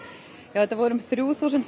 það voru um þrjú þúsund